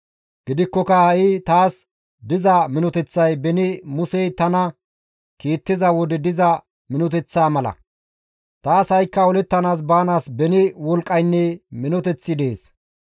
Gidikkoka ha7i taas diza minoteththay beni Musey tana kiittiza wode diza minoteththaa mala. Taas ha7ikka olettana baanaas beni wolqqaynne minoteththi dees.